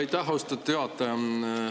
Aitäh, austatud juhataja!